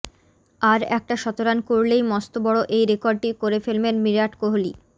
আর একটা শতরান করলেই মস্ত বড়ো এই রেকর্ডটি করে ফেলবেন বিরাট কোহলি